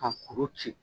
Ka kuru ci